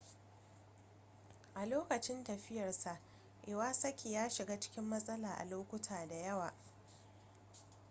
a lokacin tafiyarsa iwasaki ya shiga cikin matsala a lokuta da yawa